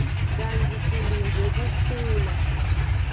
kantsi silindzele kukhula